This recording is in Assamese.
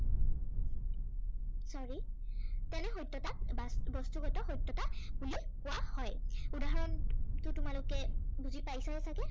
sorry তেনে সত্য়তাক বাস্তু বস্তুগত সত্য়তা বুলি কোৱা হয়। উদাহৰণটো তোমালোকে বুজি পাইছাই চাগে।